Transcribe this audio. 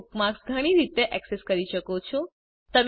તમે બુકમાર્ક્સ ઘણી રીતે ઍક્સેસ કરી શકો છો